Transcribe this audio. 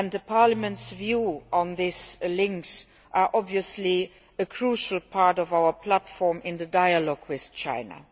Parliament's views on these links are obviously a crucial part of our platform in the dialogue with China.